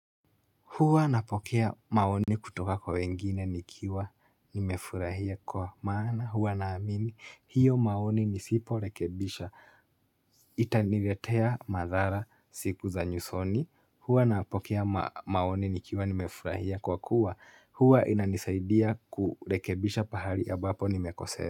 Huwa napokea maoni kutoka kwa wengine nikiwa nimefurahia kwa maana huwa naamini hiyo maoni nisiporekebisha, itaniletea madhara siku za nyusoni Hua napokea maoni nikiwa nimefurahia kwa kuwa. Huwa inanisaidia kurekebisha pahali ambapo nimekose.